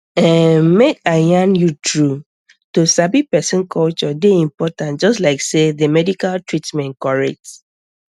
erm make i yarn true to sabi person culture dey important just like sey the medical treatment correct